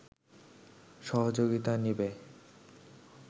সহযোগিতা নেবে